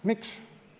Miks?